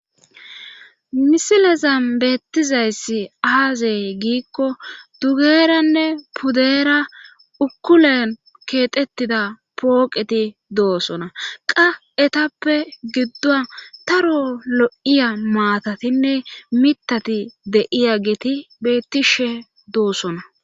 Misilezan beettizayssi aazey giikko dugeeranne pudeera ukulen keexettida pooqeti doosona qa etappe giddo taro lo7iya maatatinne mitati de7iya geti beettishe doosona.